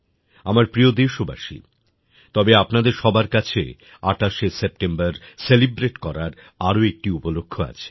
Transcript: আমার প্রিয় দেশবাসী তবে আপনাদের সবার কাছে ২৮শে সেপ্টেম্বর সেলিব্রেট করার আরো একটি উপলক্ষ্য আছে